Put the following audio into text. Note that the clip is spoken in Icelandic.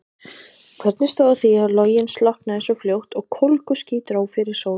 Hvernig stóð á því að loginn slokknaði svo fljótt og kólguský dró fyrir sól?